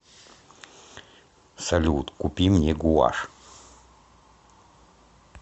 салют купи мне гуашь